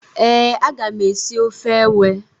Ee, a ga m esi ofe ewe.